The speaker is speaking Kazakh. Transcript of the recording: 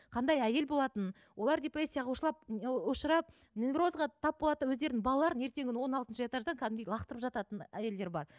қандай әйел болатын олар депрессияға ы ұшырап неврозға тап болады да өздерінің балаларын ертеңгі күні он алтыншы этаждан кәдімгідей лақтырып жататын әйелдер бар